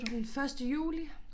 Den første juli